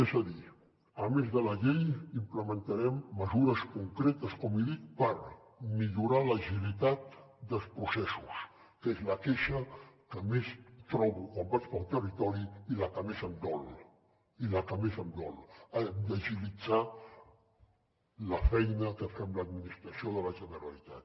és a dir a més de la llei implementarem mesures concretes com he dit per millorar l’agilitat dels processos que és la queixa que més trobo quan vaig pel territori i la que més em dol i la que més em dol hem d’agilitzar la feina que fem l’administració de la generalitat